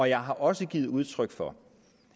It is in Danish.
jeg har også givet udtryk for